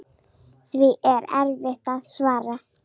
Því er erfitt að svara.